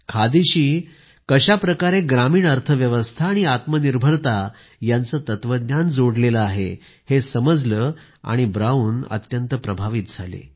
खादीशी कशा प्रकारे ग्रामीण अर्थव्यवस्था आणि आत्मनिर्भरता यांचं तत्वज्ञान जोडलेलं आहे हे समजल्यानं ब्राऊन अत्यंत प्रभावित झाले